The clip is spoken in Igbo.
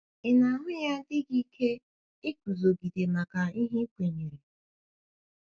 Ị na - ahụ ya dị gị ike iguzogide maka ihe i kwenyere?